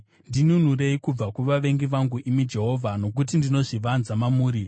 Ndinunurei kubva kuvavengi vangu, imi Jehovha, nokuti ndinozvivanza mamuri.